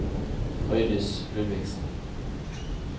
Frøydis Ludvigsen